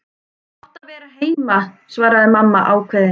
Þú átt að vera heima, svaraði mamma ákveðin.